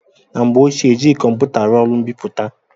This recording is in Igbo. Na mgbe ochie, ejighị kọmputa arụ ọrụ mbipụta.